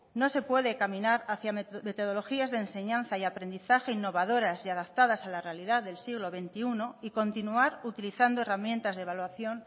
no se puede caminar hacia metodologías de enseñanza y aprendizaje innovadoras y adaptadas a la realidad del siglo veintiuno y continuar utilizando herramientas de evaluación